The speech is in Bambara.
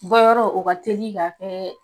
Bɔ yɔrɔ o ka teli ka kɛɛ.